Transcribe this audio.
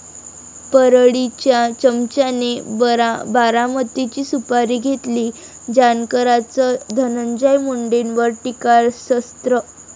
परळी'च्या चमच्याने 'बारामती'ची सुपारी घेतली, जानकरांचं धनंजय मुंडेंवर टीकास्त्र